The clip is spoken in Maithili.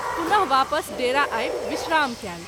पुन: वापस डेरा आबि विश्राम कएल।